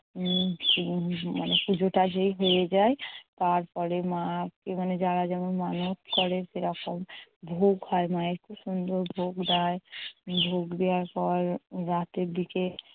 উম মানে পুজোটা যেই হয়ে যায়। তারপরে মা মানে যারা যেমন মানত করে সেরকম ভোগ হয় মায়ের। খুব সুন্দর ভোগ দেয়। ভোগ দেয়ার পর রাতের দিকে